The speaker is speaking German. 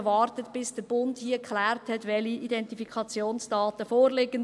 Man wartet, bis der Bund geklärt hat, welche Identifikationsdaten vorliegen.